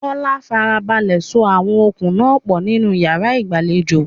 Bola farabalẹ̀ so àwọn okùn náà pọ̀ nínú yàrá ìgbàlejò.